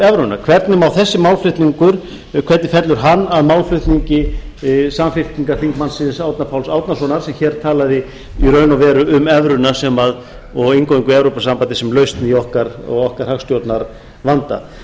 evruna hvernig fellur þessi málflutningur að málflutningi samfylkingarþingmannsins árna páls árnasonar sem hér talaði í raun og veru um evruna ég eingöngu evrópusambandið sem lausn á okkar hagstjórnarvanda þannig að